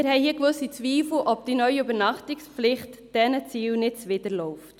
Wir haben hier gewisse Zweifel, ob die neue Übernachtungspflicht diesen Zielen nicht zuwiderläuft.